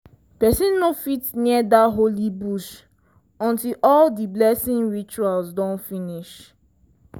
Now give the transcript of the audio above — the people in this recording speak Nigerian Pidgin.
person no fit near dat holy bush until all di blessing rituals don finish.